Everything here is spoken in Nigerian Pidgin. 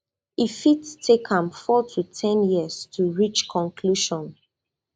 e fit take am four to ten years to reach conclusion